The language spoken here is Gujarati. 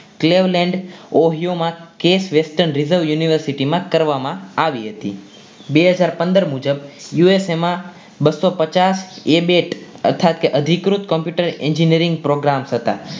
university માં કરવામાં આવી હતી બે હાજર પંદર મુજબ USA માં બસો પચાસ એ બેટ અર્થાત કે અધિકૃત engineering programs હતા.